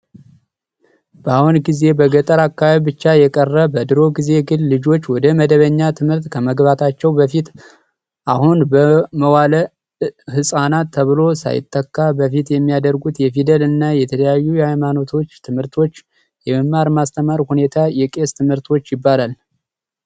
ባሁን ጊዜ በገጠር አካባቢ ብቻ የቀረ በድሮ ጊዜ ግን ልጆች ወደ መደበኛ ትምህርት ከመግባታቸው በፊት አሁን መዋእለ ህጻናት ተብሎ ሳይተካ በፊት የሚያደርጉት የፊደል እና የተለያዩ የሃይማኖት ትምህርቶች የመማር ማስተማር ሁኔታ የቄስ ትምህርት ይባላል።